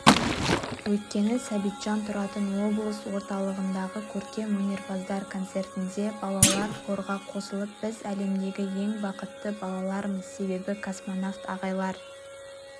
өйткені сәбитжан тұратын облыс орталығындағы көркем өнерпаздар концертінде балалар хорға қосылып біз әлемдегі ең бақытты балалармыз себебі космонавт ағайлар